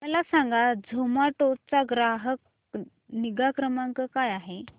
मला सांगा झोमॅटो चा ग्राहक निगा क्रमांक काय आहे